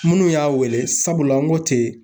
Minnu y'a wele ,sabula n ko ten